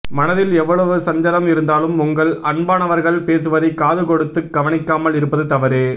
மனதில் எவ்வளவு சஞ்சலம் இருந்தாலும் உங்கள் அன்பானவர்கள் பேசுவதை காது கொடுத்து கவனிக்காமல் இருப்பது தவறு